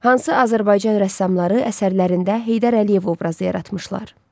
Hansı Azərbaycan rəssamları əsərlərində Heydər Əliyev obrazı yaratmışlar?